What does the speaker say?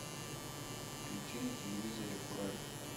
включи на телевизоре курай